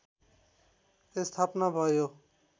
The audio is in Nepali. स्थापना भयो